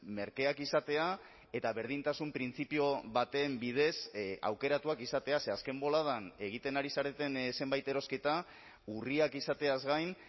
merkeak izatea eta berdintasun printzipio baten bidez aukeratuak izatea ze azken boladan egiten ari zareten zenbait erosketa urriak izateaz gain